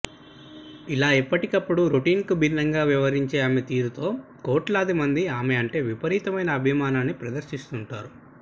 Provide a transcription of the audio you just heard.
ఇలా ఎప్పటికప్పుడు రోటీన్ కు భిన్నంగా వ్యవహరించే ఆమె తీరుతో కోట్లాది మంది ఆమె అంటే విపరీతమైన అభిమానాన్ని ప్రదర్శిస్తుంటారు